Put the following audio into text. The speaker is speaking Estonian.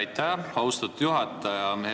Aitäh, austatud juhataja!